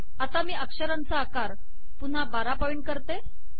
आता मी अक्षरांचा आकार पुन्हा १२ पॉइंट करते